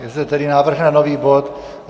Je zde tedy návrh na nový bod.